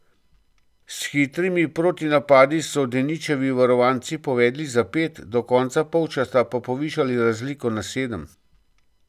S hitrimi protinapadi so Deničevi varovanci povedli za pet, do konca polčasa pa povišali razliko na sedem.